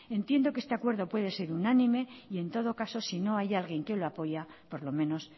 entiendo que este acuerdo puede ser unánime y en todo caso si no hay alguien que lo apoya por lo menos